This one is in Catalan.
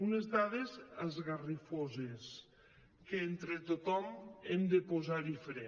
unes dades esgarrifoses que entre tothom hem de posar hi fre